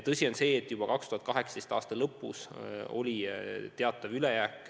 Tõsi on, et juba 2018. aasta lõpus oli teatav raha ülejääk.